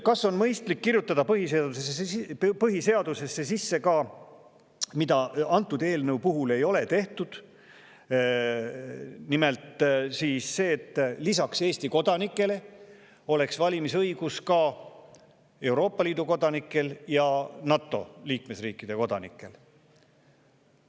Kas on mõistlik kirjutada põhiseadusesse sisse – antud eelnõu puhul ei ole seda tehtud –, et lisaks Eesti kodanikele oleks valimisõigus ka Euroopa Liidu kodanikel ja NATO liikmesriikide kodanikel?